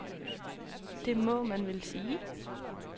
Det må man vel sige.